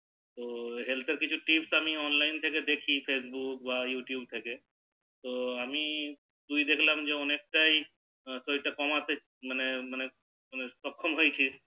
তো health এর আমি অনেক কিছু Tips অনলাইন তে দেখি Facebook বা YouTube থেকে আমি তো তুই দেখলাম অনেক টাই শরীর টা কমিয়েছিস মানে মানে সক্ষম হয়েছিস